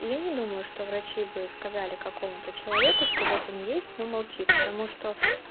я не думаю что врачи бы сказали какому-то человеку что вот он есть но молчи потому что